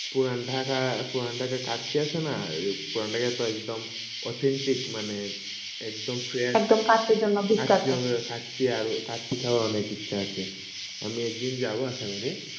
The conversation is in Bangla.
পুরাণ ঢাকা কাটছে আসে ন authentic মানে একদ fresh কাটছে আর সেইতও অনেক ইটছ আসে আমি একদিন যাব আশা করি